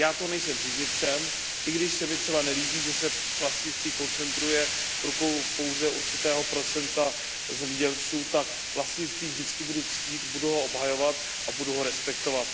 Já toho nejsem příznivcem, a i když se mi třeba nelíbí, že se vlastnictví koncentruje v rukou pouze určitého procenta zemědělců, tak vlastnictví vždycky budu ctít, budu ho obhajovat a budu ho respektovat.